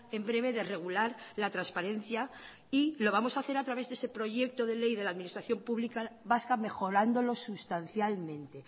en breve de regular la transparencia y lo vamos a hacer a través de ese proyecto de ley de la administración pública vasca mejorándolo sustancialmente